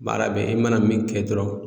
Baara bɛ i mana min kɛ dɔrɔn